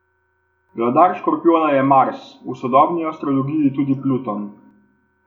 Vladar škorpijona je Mars, v sodobni astrologiji tudi Pluton.